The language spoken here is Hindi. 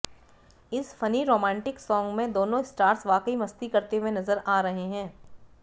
इस फनी रोमांटिक सॉन्ग में दोनों स्टार्स वाकई मस्ती करते हुए नजर आ रहे हैं